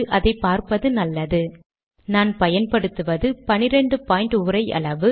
12 புள்ளிகள் என்பது எழுத்தின் அளவு